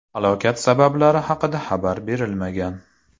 Halokat sabablari haqida xabar berilmagan.